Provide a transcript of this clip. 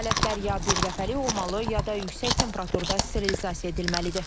Alətlər ya birdəfəlik olmalı, ya da yüksək temperaturda sterilizasiya edilməlidir.